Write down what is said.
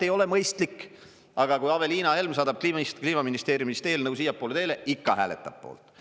ei ole mõistlik, aga kui Aveliina Helm saadab Kliimaministeeriumist eelnõu siiapoole teele, ikka hääletab poolt.